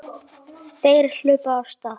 Þeir hlupu af stað.